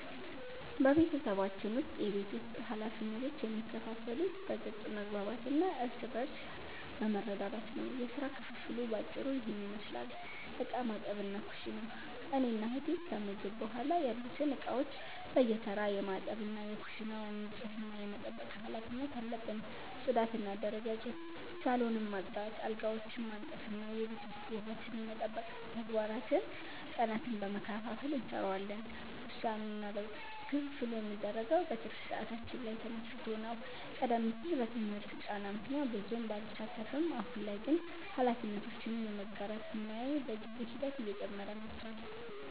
በቤተሰባችን ውስጥ የቤት ውስጥ ኃላፊነቶች የሚከፋፈሉት በግልጽ መግባባት እና እርስ በርስ በመረዳዳት ነው። የሥራ ክፍፍሉ በአጭሩ ይህንን ይመስላል፦ ዕቃ ማጠብና ኩሽና፦ እኔና እህቴ ከምግብ በኋላ ያሉትን ዕቃዎች በየተራ የማጠብ እና የኩሽናውን ንጽህና የመጠበቅ ኃላፊነት አለብን። ጽዳትና አደረጃጀት፦ ሳሎንን ማጽዳት፣ አልጋዎችን ማንጠፍ እና የቤት ውስጥ ውበትን የመጠበቅ ተግባራትን ቀናትን በመከፋፈል እንሰራዋለን። ውሳኔና ለውጥ፦ ክፍፍሉ የሚደረገው በትርፍ ሰዓታችን ላይ ተመስርቶ ነው። ቀደም ሲል በትምህርት ጫና ምክንያት ብዙም ባልሳተፍም፣ አሁን ላይ ግን ኃላፊነቶችን የመጋራት ሚናዬ በጊዜ ሂደት እየጨመረ መጥቷል።